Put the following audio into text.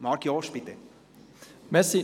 Kommissionspräsident der SAK.